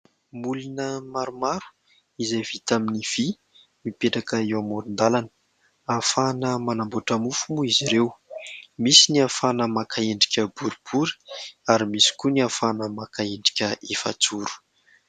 Molina maromaro izay vita amin'ny vy mipetraka eo amoron-dalana. Ahafahana manamboatra mofo moa izy ireo. Misy ny ahafahana maka endrika boribory ary misy koa ny ahafahana maka endrika efajoro.